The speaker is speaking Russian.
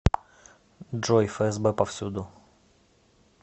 джой фсб повсюду